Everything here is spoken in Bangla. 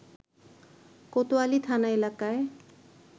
কোতোয়ালি থানা এলাকায়